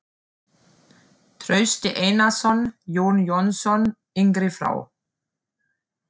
Trausti Einarsson, Jón Jónsson yngri frá